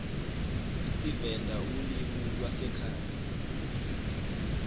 isivenda ulimi lwasekhaya